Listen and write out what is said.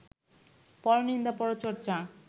পরনিন্দা, পরচর্চা